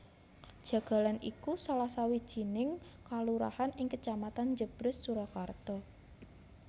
Jagalan iku salah sawijining kalurahan ing Kecamatan Jèbrès Surakarta